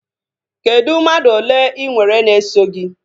Kedụ mmadụ ole inwere na-eso gị?